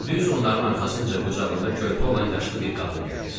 Düz onların arxasınca qucağında körpə olan yaşlı bir qadın gəlir.